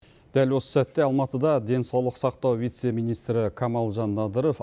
дәл осы сәтте алматыда денсаулық сақтау вице министрі камалжан надыров